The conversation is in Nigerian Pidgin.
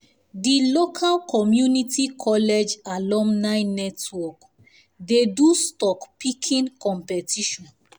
the local community college alumni network dey do stock picking competition